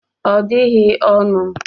Ọ dịghị ọnụ